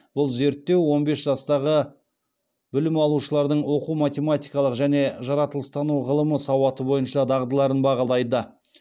бұл зерттеу он бес жастағы білім алушылардың оқу математикалық және жаратылыстану ғылымы сауаты бойынша дағдыларын бағалайды